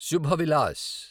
Subha Vilas